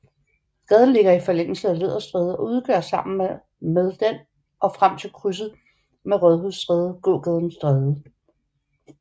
Gaden ligger i forlængelse af Læderstræde og udgør sammen med den og frem til krydset med Rådhusstræde gågaden Strædet